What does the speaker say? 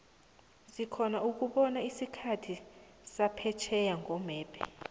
sikhona ukubona isikhathi saphetjheya nqomebhe